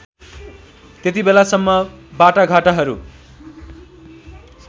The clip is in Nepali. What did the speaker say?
त्यतिबेलासम्म बाटाघाटाहरू